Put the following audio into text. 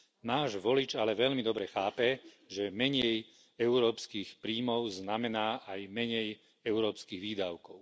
Náš volič ale veľmi dobre chápe, že menej európskych príjmov znamená aj menej európskych výdavkov.